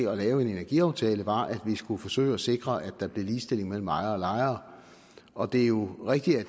af en energiaftale var at vi skulle forsøge at sikre at der blev sikret ligestilling mellem ejere og lejere og det er jo rigtigt